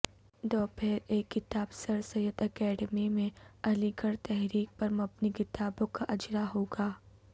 دوپہر ایک کتاب سرسید اکیڈمی میں علی گڑھ تحریک پر مبنی کتابوں کا اجراء ہوگا